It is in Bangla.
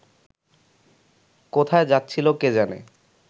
কোথায় যাচ্ছিল কে জানে